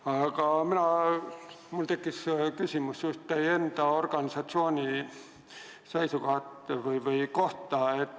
Aga mul tekkis küsimus just teie enda organisatsiooni kohta.